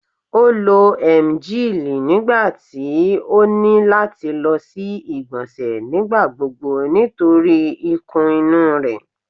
O lo emgyl nigbati o ni lati lọ si igbonse nigbagbogbo nitori ikun inu rẹ